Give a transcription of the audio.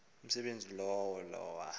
umsebenzi lowo lowa